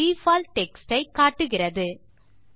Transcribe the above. default text ஐ காட்டுகிறது